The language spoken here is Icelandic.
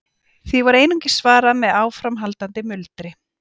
Því var einungis svarað með áframhaldandi muldri.